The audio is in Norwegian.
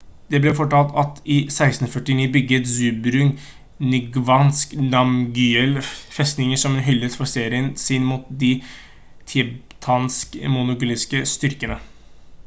det blir fortalt at i 1649 bygget zhabdrung ngawang namgyel festningen som en hyllest for seieren sin mot de tibetansk-mongolske styrkene